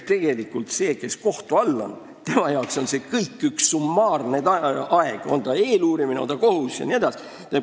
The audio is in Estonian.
Tegelikult on see ju inimese jaoks, kes on kohtu all, summaarne aeg – on ta eeluurimise all, on ta kohtus jne.